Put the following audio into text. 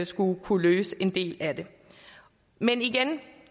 skulle kunne løse en del af det men igen vil